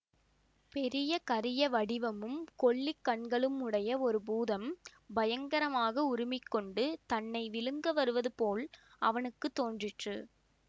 பெரிய கரிய வடிவமும் கொள்ளிக் கண்களும் உடைய ஒரு பூதம் பயங்கரமாக உறுமிக் கொண்டு தன்னை விழுங்க வருவது போல் அவனுக்கு தோன்றிற்று